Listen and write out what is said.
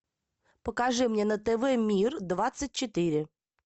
покажи мне на тв мир двадцать четыре